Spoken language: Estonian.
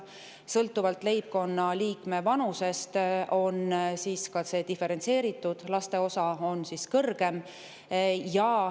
Sõltuvalt leibkonnaliikme vanusest on see diferentseeritud, laste osa on kõrgem.